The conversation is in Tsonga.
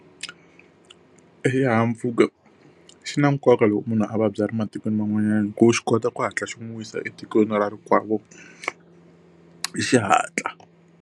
Exihahampfhuka xi na nkoka loko munhu a vabya a ri matikweni man'wani hikuva xi kota ku hatla xi n'wi yisa etikweni ra ra rikwavo hi xihatla.